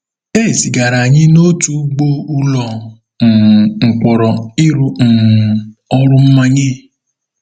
E zigara anyị n’otu ugbo ụlọ um mkpọrọ ịrụ um ọrụ mmanye.